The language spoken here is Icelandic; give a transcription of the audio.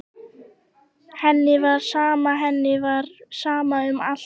Henni var sama, henni var sama um allt.